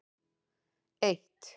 eitt